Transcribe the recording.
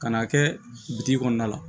Kan'a kɛ bitiki kɔnɔna la